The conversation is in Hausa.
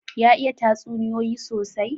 Ya iya tatsuniyoyi sosai?